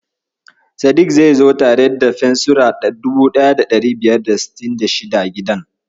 Sadik zai zo tare da fensira 1566 gidan.